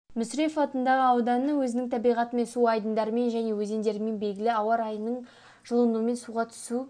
мүсірепов атындағы ауданы өзінің табиғатымен су айдындарымен және өзендерімен белгілі ауа райының жылынуымен суға түсу